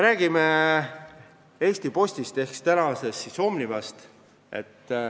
Räägime ka Eesti Postist ehk siis Omnivast.